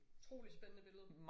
Utrolig spændende billede